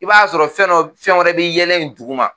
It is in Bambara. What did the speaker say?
I b'a sɔrɔ fɛn dɔ fɛn wɛrɛ bɛ yɛlɛ in duguma